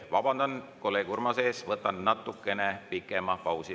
Vabandan kolleeg Urmase ees, ma natukene pikema pausi.